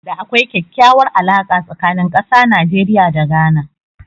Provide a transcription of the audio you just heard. Da akwai kyakkyawar alaka tsakanin ƙasa Najeriya da Ghana